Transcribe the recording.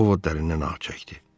Ovud dərinə nəfəs çəkdi.